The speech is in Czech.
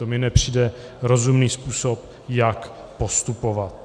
To mi nepřijde rozumný způsob, jak postupovat.